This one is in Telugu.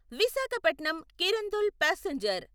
విశాఖపట్నం కిరందుల్ పాసెంజర్